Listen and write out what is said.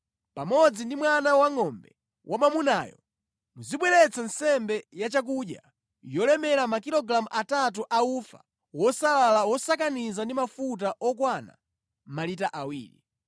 pamodzi ndi mwana wangʼombe wamwamunayo muzibweretsa nsembe yachakudya yolemera makilogalamu atatu a ufa wosalala wosakaniza ndi mafuta okwana malita awiri.